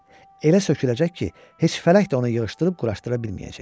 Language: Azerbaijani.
Elə söküləcək ki, heç fələk də onu yığışdırıb quraşdıra bilməyəcək.